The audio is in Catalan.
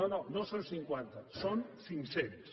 no no no són cinquanta són cinc cents